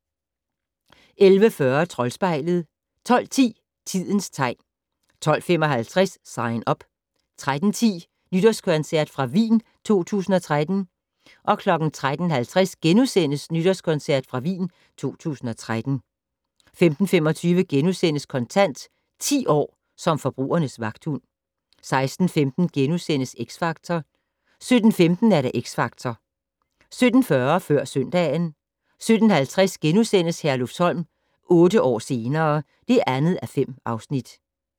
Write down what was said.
11:40: Troldspejlet 12:10: Tidens tegn 12:55: Sign Up 13:10: Nytårskoncert fra Wien 2013 13:50: Nytårskoncert fra Wien 2013 * 15:25: Kontant: 10 år som forbrugernes vagthund * 16:15: X Factor * 17:15: Xtra Factor 17:40: Før søndagen 17:50: Herlufsholm - otte år senere ... (2:5)*